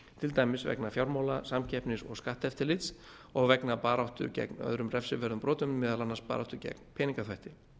til dæmis vegna fjármála samkeppnis og skatteftirlits og vegna baráttu gegn öðrum refsiverðum brotum meðal annars baráttu gegn peningaþvætti